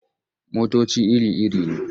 Motoci iri-iri ne.